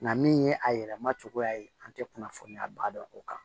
Nka min ye a yɛlɛma cogoya ye an tɛ kunnafoniya ba dɔn o kan